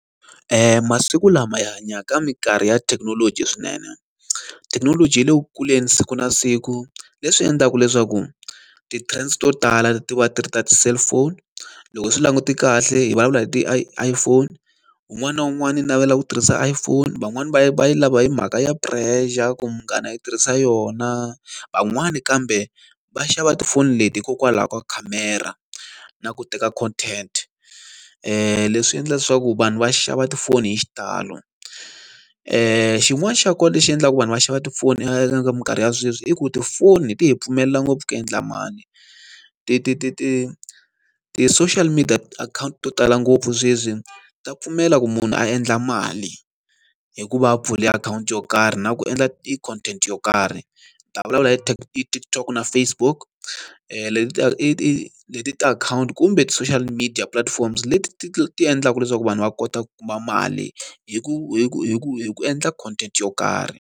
masiku lama hi hanyaka ka minkarhi ya thekinoloji swinene. Thekinoloji yi le ku kuleni siku na siku leswi endlaka leswaku ti-trends to tala ti va ti ri ta ti-cellphone. Loko swi langute kahle hi vulavula hi ti-iPhone. Un'wana na un'wana u navela ku tirhisa iPhone, van'wani va yi va yi lava hi mhaka ya pressure ku munghana i tirhisa yona, van'wana kambe va xava tifoni leti hikokwalaho ka khamera na ku teka content. Leswi endla leswaku vanhu va xava tifoni hi xitalo. Xin'wana xa kona lexi endlaka ku vanhu va xava tifoni eka minkarhi ya sweswi i ku tifoni ti hi pfumelela ngopfu ku endla mali. Ti ti ti ti ti-social media account to tala ngopfu sweswi ta pfumela ku munhu a endla mali, hi ku va a pfule akhawunti yo karhi na ku endla i content yo karhi. Ni ta vulavula hi TikTok na Facebook, leti i i leti tiakhawunti kumbe ti-social media platforms leti ti endlaka leswaku vanhu va kota ku kuma mali hi ku hi ku hi ku hi ku endla content yo karhi.